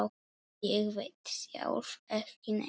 Ég veit sjálf ekki neitt.